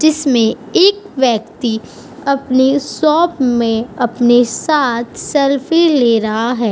जिसमें एक व्यक्ति अपने शॉप में अपने साथ सेल्फी ले रहा है।